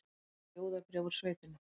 Ljóðabréf úr sveitinni